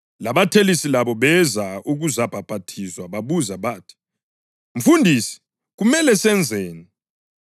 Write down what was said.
Labathelisi labo beza ukuzabhaphathizwa. Babuza bathi, “Mfundisi, kumele senzeni?”